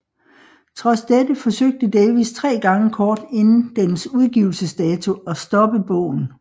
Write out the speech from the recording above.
Trods dette forsøgte Davies tre gange kort inden dens udgivelsedato at stoppe bogen